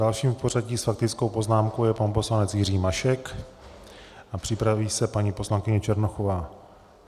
Dalším v pořadí s faktickou poznámkou je pan poslanec Jiří Mašek a připraví se paní poslankyně Černochová.